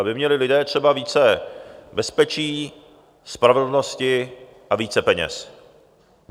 Aby měli lidé třeba více bezpečí, spravedlnosti a více peněz.